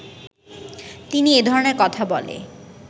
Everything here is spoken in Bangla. তিনি এ ধরনের কথা বলে